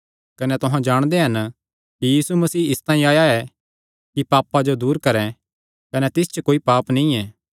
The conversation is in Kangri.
कने तुहां जाणदे हन कि यीशु मसीह इसतांई आया ऐ कि पापां जो दूर करैं कने तिस च कोई पाप नीं ऐ